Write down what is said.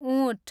उँट